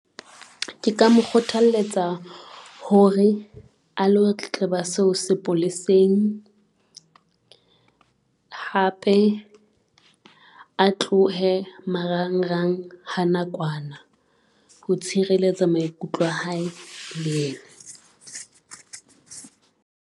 Ke ka mo kgothaletsa hore a lo tletleba seo sepoleseng, hape a tlohe marangrang ha nakwana. Ho tshireletsa maikutlo a hae le yena.